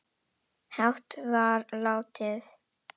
hátt var látið